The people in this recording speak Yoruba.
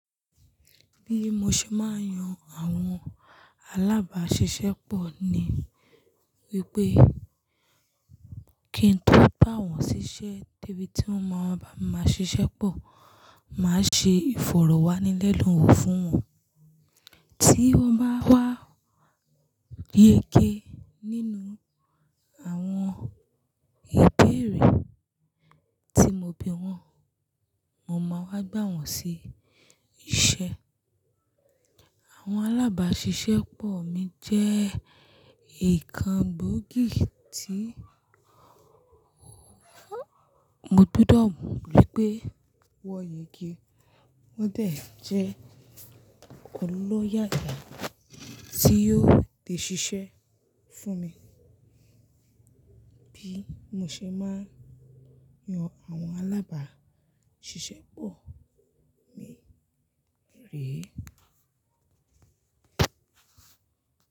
Bí mo ṣe máa yan àwọn alábàáṣiṣẹ́ pọ̀ ni wípé kí ń tó bá wọn si ṣẹ́ débi tí wón ma máa ṣiṣẹ́ pọ̀, màá ṣe ìfọ̀rọ̀wánilẹ́nuwò fún wọn. Tí wọ́n bá wá yege nínú àwọn ìbéèrè tí mo bi wọ́n, mo máa wá gbà wọ́n sí iṣẹ́. Àwọn alábàáṣiṣẹ́ pọ̀ mi jẹ́ nkan gbóògì tí mo gbúdọ̀ mọ̀ wípé wọ́n yege. Wọ́n dẹ̀ tu jẹ́ ọlọ́yàyà tí yóò le ṣiṣẹ́ fún mi. Bí mo ṣe máa yan àwọn alábàáṣiṣẹ́ pọ̀ mi rèé.